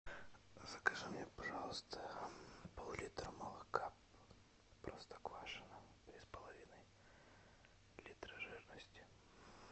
закажи мне пожалуйста пол литра молока простоквашино три с половиной литра жирности